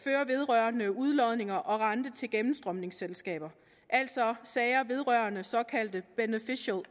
vedrørende udlodninger og rente til gennemstrømningsselskaber altså sager vedrørende såkaldt beneficial